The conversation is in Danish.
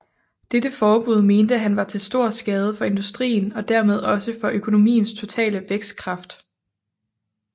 Dette forbud mente han var til stor skade for industrien og dermed også for økonomiens totale vækstkraft